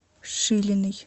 шилиной